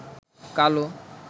কালো